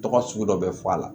Tɔgɔ sugu dɔ bɛ fɔ a la